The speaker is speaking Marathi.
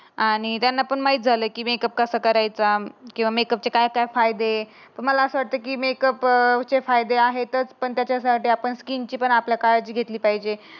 आणि त्यांना पण माहित झालं की मेकअप कसा करायचा. किंवा मेकअपचे काय काय फायदे? असं वाटते की अं मेकअप चे फायदे आहे. त पण त्याच्यासाठी आपण किंचितस आपलं कार्ड घेतली पाहिजे.